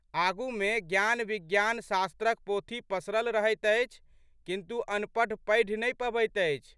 आगूमे ज्ञानविज्ञानशास्त्रक पोथी पसरल रहैत अछि, किन्तु अनपढ़ पढ़ि नहि पबैत अछि।